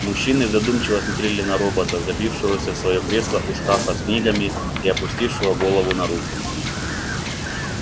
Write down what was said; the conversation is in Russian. мужчины задумчиво смотрели на робота забившегося в своё кресло у шкафа с книгами и опустившего голову на руки